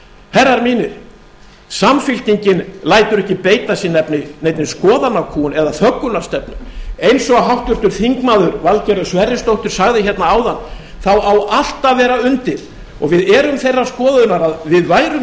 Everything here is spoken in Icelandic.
herrar mínir samfylkingin lætur ekki beita sig neinni skoðanakúgun eða þöggunarstefnu eins og háttvirtur þingmaður valgerður sverrisdóttir sagði hérna áðan á allt að vera undir og við erum þeirrar skoðunar að við værum